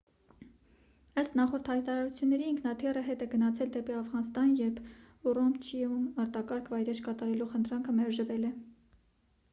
ըստ նախորդ հայտարարությունների ինքնաթիռը հետ է գնացել դեպի աֆղանստան երբ ուրումչիում արտակարգ վայրէջք կատարելու խնդրանքը մերժվել է